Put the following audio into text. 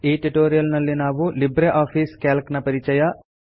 ಈ ಟ್ಯುಟೋರಿಯಲ್ನಲ್ಲಿ ನಾವು ಲಿಬ್ರೆ ಆಫೀಸ್ ಕ್ಯಾಲ್ಕ್ ನ ಪರಿಚಯ